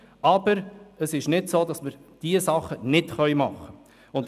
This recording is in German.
Aber es ist nicht so, dass wir diese Sachen nicht machen könnten.